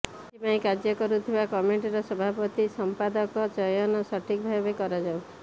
ଏଥିପାଇଁ କାର୍ଯ୍ୟ କରୁଥିବା କମିଟିର ସଭାପତି ସଂପାଦକ ଚୟନ ସଠିକ୍ ଭାବେ କରାଯାଉ